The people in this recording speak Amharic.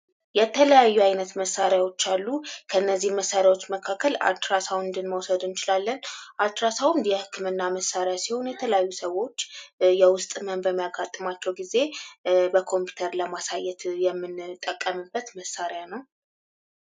የተለያዩ አይነት መሳሪያዎች አሉ ከነዚህ መሳሪያዎች መካከል አልትራ ሳውንድ መውሰድ እንችላለን። አልትራ ሳውንድ የህክምና መሳሪያ ሲሆን የተለያዩ ሰዎች የውስጥ ህመም በሚያጋጥማቸው ጊዜ በኮምፒውተር ለማሳየት ምንጠቀምበት መሣሪያ ነው።